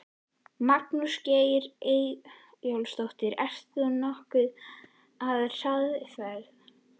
Magnús Geir Eyjólfsson: Ert þú nokkuð á hraðferð?